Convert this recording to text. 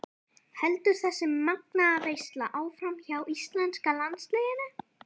Heldur þessi magnaða veisla áfram hjá íslenska landsliðinu?